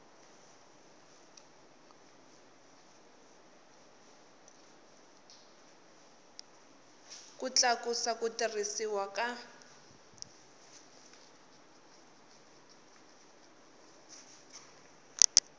ku tlakusa ku tirhisiwa ka